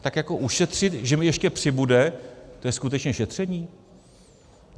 Tak jako ušetřit, že mi ještě přibude, to je skutečně šetření?